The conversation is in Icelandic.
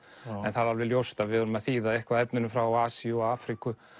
en það er alveg ljóst að við verðum að þýða eitthvað af efninu frá Asíu og Afríku